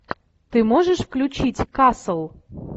ты можешь включить касл